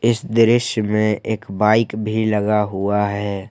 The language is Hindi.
इस दृश्य में एक बाइक भी लगा हुआ है।